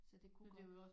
Så det kunne godt